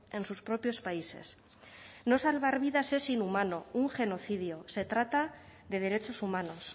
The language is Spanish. en sus propios países no salvar vidas es inhumano un genocidio se trata de derechos humanos